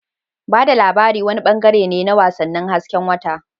Ba da labari wani bangare ne na wasannin hasken wata.